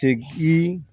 Seki